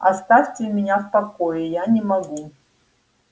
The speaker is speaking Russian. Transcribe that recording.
оставьте меня в покое я не могу